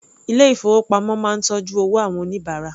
Ilé ìfowópamọ́ máa ń tọ́jú owó àwọn oníbàárà.